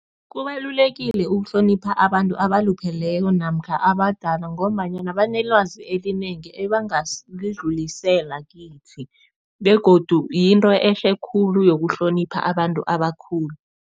Kubalulekile ukuhlonipha abantu abalupheleko namkha abadala ngombanyana banelwazi elinengi ebangalidlulisela kithi begodu yinto ehle khulu yokuhlonipha abantu abakhulu.